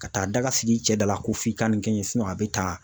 Ka taa daga sigi cɛ dɔ la ko f'i ka nin kɛ n a bɛ taa